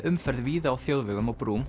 umferð víða á þjóðvegum og brúm